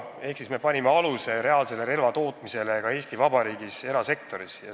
Seega me panime aluse reaalsele relvatootmisele ka Eesti Vabariigi erasektoris.